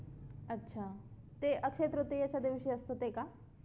अच्छा ते अक्षय तृतीयेच्या दिवशी असते ते का